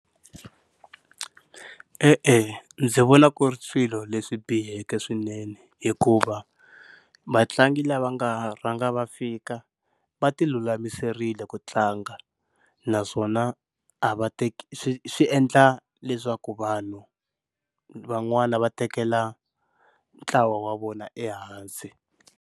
E-e ndzi vona ku ri swilo leswi biheke swinene hikuva vatlangi lava nga rhanga va fika va ti lulamiserile ku tlanga, naswona a va swi swi endla leswaku vanhu van'wani va tekela ntlawa wa vona ehansi.